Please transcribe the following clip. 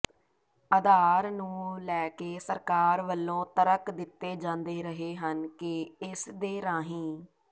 ਅਧਾਰ ਨੂੰ ਲੈਕੇ ਸਰਕਾਰ ਵੱਲੋਂ ਤਰਕ ਦਿੱਤੇ ਜਾਂਦੇ ਰਹੇ ਹਨ ਕਿ ਇਸਦੇ ਰਾਹੀਂ